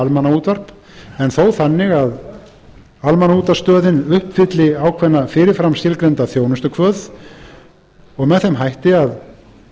almannaútvarp en þó þannig að almannaútvarpsstöðin uppfylli ákveðna fyrirframskilgreinda þjónustukvöð og með þeim hætti að